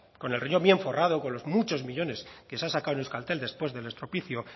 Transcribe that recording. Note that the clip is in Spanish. con el riñón bien forrado con los muchos millónes que se ha sacado en euskaltel después del estropicio